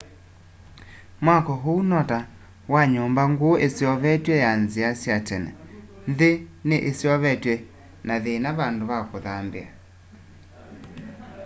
mwako ũu no ta wa nyũmba ngũu yiseovetwe ya nzia sya tene nthi ni iseovetwe na yina vandũ va kũthambia